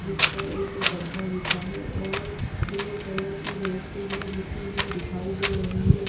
जिस पर एक गद्दा बिछ्हा है और ब्लू कलर की बेड शीट भी बिछी हुई दिखाई दे रही है।